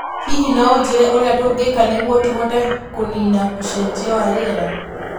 Hihi no ũnjĩĩre ũrĩa tũngĩka nĩguo tũhote kũniina ũcejia wa rĩera